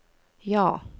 ja